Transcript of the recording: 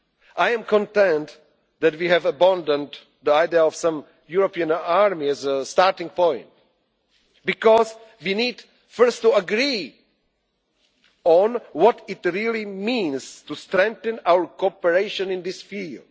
it convenient. I am content that we have abandoned the idea of some European army as a starting point, because we need first to agree on what it really means to strengthen our cooperation